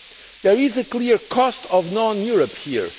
There is a clear cost of non Europe' here.